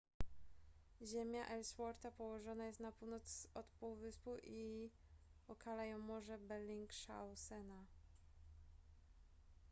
ziemia ellswortha położona jest na północ od półwyspu i okala ją morze bellingshausena